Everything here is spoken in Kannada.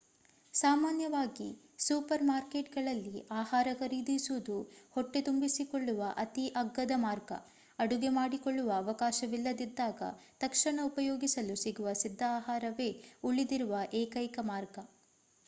ಸಾಮಾನ್ಯವಾಗಿ ಸೂಪರ್ ಮಾರ್ಕೇಟ್ಗಳಲ್ಲಿ ಆಹಾರ ಖರೀದಿಸುವುದು ಹೊಟ್ಟೆ ತುಂಬಿಸಿಕೊಳ್ಳುವ ಅತೀ ಅಗ್ಗದ ಮಾರ್ಗ ಅಡುಗೆ ಮಾಡಿಕೊಳ್ಳುವ ಅವಕಾಶವಿಲ್ಲದಿದ್ದಾಗ ತಕ್ಷಣ ಉಪಯೋಗಿಸಲು ಸಿಗುವ ಸಿದ್ಧ ಆಹಾರವೇ ಉಳಿದಿರುವ ಎಕೈಕ ಮಾರ್ಗ